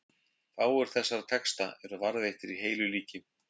Fáir þessara texta eru varðveittir í heilu líki.